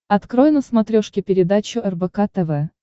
открой на смотрешке передачу рбк тв